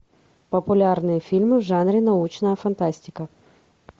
популярные фильмы в жанре научная фантастика